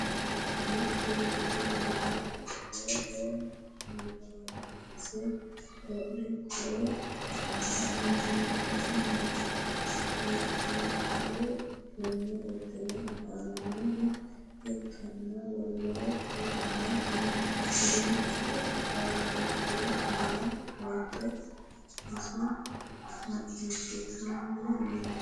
mittu beetti uure afoohono makise wodhe qolle ka'eenitinni no wottadaru uduunne udire afamanoha ikanna wolootu kayinni duuchu baattote aanna ofolitte isso macishitanni no .